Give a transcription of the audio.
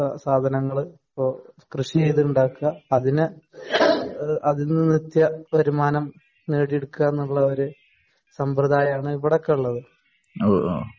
സാധനങ്ങള് ഇപ്പോ കൃഷി ചെയ്ത് ഉണ്ടാക്കാ അതിന് അതിൽ നിന്ന് നിത്യ വരുമാനം നേടിയെടുക്കുക എന്ന ഒരു സമ്പറദായമാണ് ഇവിടെ ഒക്കെ ഉള്ളത്.